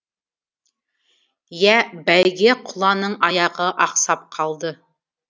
иә бәйге құланың аяғы ақсап қалды